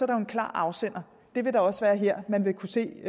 der en klar afsender det vil der også være her man vil kunne se